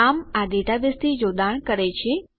આમ આ ડેટાબેઝથી જોડાણ કરે છે